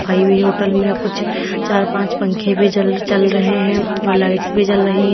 Hotel में कुछ चार पांच पंखे भी जल चल रहे हैं और लाइट्स भी जल रही हैं।